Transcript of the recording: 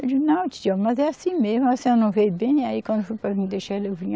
Eu digo, não, titia, mas é assim mesmo, a senhora não veio bem, aí quando foi para me deixar, eu vim.